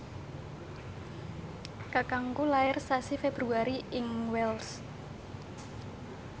kakangku lair sasi Februari ing Wells